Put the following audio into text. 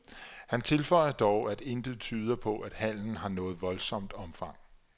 Han tilføjer dog, at intet tyder på, at handelen har noget voldsomt omfang.